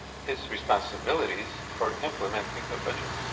its responsibilities for implementing the budget.